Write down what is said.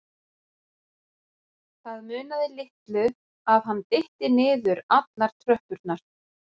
Það munaði litlu að hann dytti niður allar tröppurnar.